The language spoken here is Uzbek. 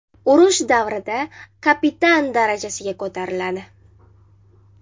Urush davrida kapitan darajasigacha ko‘tariladi.